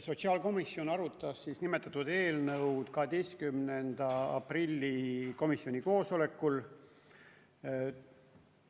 Sotsiaalkomisjon arutas nimetatud eelnõu 12. aprillil komisjoni koosolekul.